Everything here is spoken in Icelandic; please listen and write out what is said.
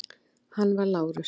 Hann var Lárus